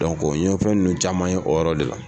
n ye fɛn ninnu caman ye o yɔrɔ de la.